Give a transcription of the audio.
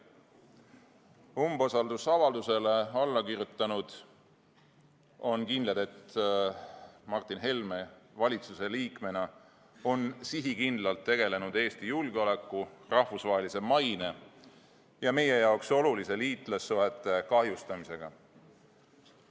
Umbusaldusavaldusele allakirjutanud on kindlad, et Martin Helme valitsuse liikmena on sihikindlalt tegelenud Eesti julgeoleku, rahvusvahelise maine ja meie jaoks oluliste liitlassuhete kahjustamisega.